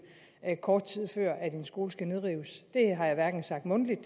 kort tid før en skole skal nedrives det har jeg hverken sagt mundtligt